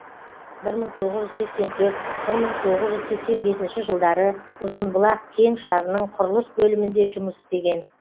бір мың тоғыз жүз сексен төрт бір мың тоғыз жүз сексен бесінші жылдары ұзынбұлақ кең шарының құрылыс бөлімінде жұмыс істеген